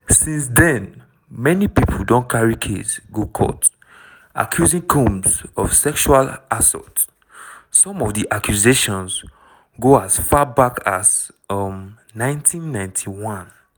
since den many pipo don carry case go court accusing combs of sexual assault some of di accusations go as far back as um 1991.